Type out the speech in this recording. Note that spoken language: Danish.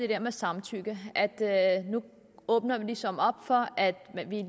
der med samtykke nu åbner vi ligesom op for at